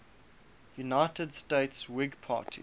united states whig party